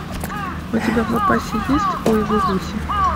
у тебя в запасе есть ой вы гуси